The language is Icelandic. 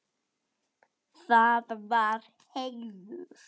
Það var heiður.